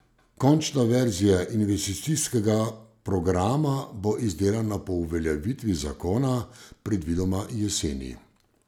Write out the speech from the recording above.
Končna verzija investicijskega programa bo izdelana po uveljavitvi zakona, predvidoma jeseni.